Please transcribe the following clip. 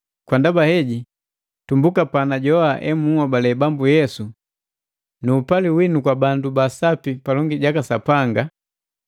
Kwa ndaba heji, tumbuka panajoa emunhobale Bambu Yesu na upali winu kwa bandu ba Sapi palongi jaka Sapanga,